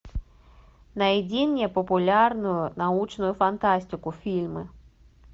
найди мне популярную научную фантастику фильмы